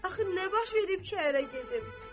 Mən axı nə baş verib ki, ərə gedim?